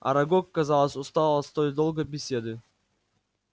арагог казалось устал от столь долгой беседы